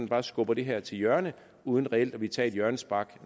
bare skubber det her til hjørne uden reelt at ville tage et hjørnespark